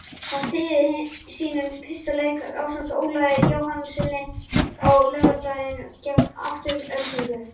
Hann stýrði sínum fyrsta leik ásamt Ólafi Jóhannessyni á laugardaginn gegn Aftureldingu.